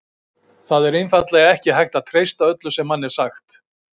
Það er einfaldlega ekki hægt að treysta öllu sem manni er sagt.